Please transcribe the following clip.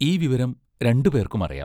ഈ വിവരം രണ്ടു പേർക്കും അറിയാം.